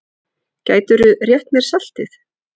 Gætirðu rétt mér saltið?